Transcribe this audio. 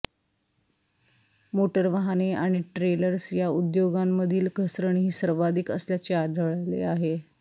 motor वाहने आणि trailers या उद्योगामधील घसरण ही सर्वाधिक असल्याचे आढळले आहे